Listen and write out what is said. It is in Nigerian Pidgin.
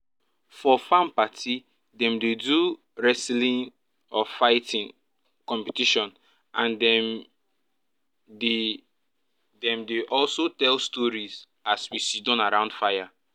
for farm party dem dey do wrestling/fighting um competition and dem dey dem dey also tell storeis as we siddon round fire